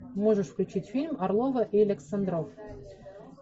можешь включить фильм орлова и александров